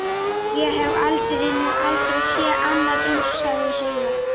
Ég hef nú aldrei séð annað eins, sagði Heiða.